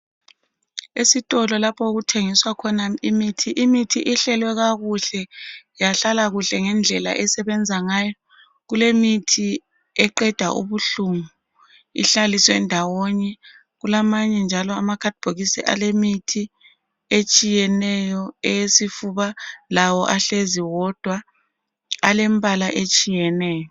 Esitolo lapha okuthengiswa khona imithi. Imithi ihlelwe, kakuhle. Yahlala kuhle, ngendlela esebenza ngayo. Kulemithi eqeda ubuhlungu, ihlaliswe ndawonye. Kulamanye njalo amanye amakhadibhokisi alemithi etshiyeneyo, eyesifuba. Lawo ahlezi wodwa. Alembala etshiyeneyo.